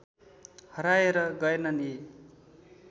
हराएर गएनन् यी